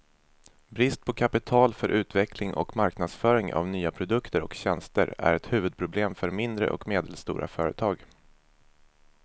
Brist på kapital för utveckling och marknadsföring av nya produkter och tjänster är ett huvudproblem för mindre och medelstora företag.